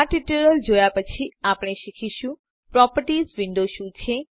આ ટ્યુટોરીયલ જોયા પછી આપણે શીખીશું પ્રોપર્ટીઝ વિન્ડો શું છે